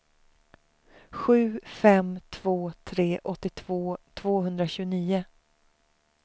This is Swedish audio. sju fem två tre åttiotvå tvåhundratjugonio